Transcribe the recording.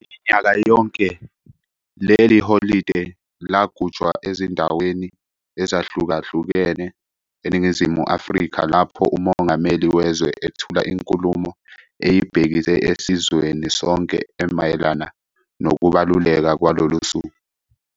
Minyaka yonke leli holide lugujwa ezindaweni ezahlukahlukene eNingizimu Afrika lapho uMongameli wezwe ethula inkulumo eyibhekise esizweni sonke emayelana nokubaluleka kwalolusuku.